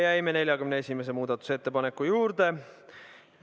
Jäime 41. muudatusettepaneku juurde.